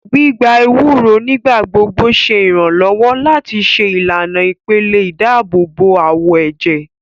Gbígbà ewúro nigbagbogbo ṣe iranlọwọ láti ṣe ìlànà ìpele ìdáàbòbò awọ ẹjẹ